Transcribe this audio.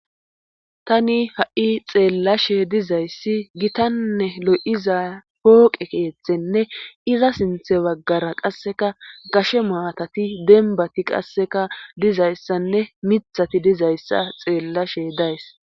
tani ha7i xeellashe dizayssi gitanne lo7iza pooqe keeththenne iza sinthe baggara qasseka gashe maatati denbati qasseka dizayssanne mithati dizayssa xeellashe days